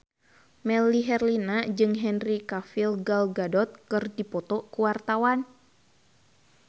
Melly Herlina jeung Henry Cavill Gal Gadot keur dipoto ku wartawan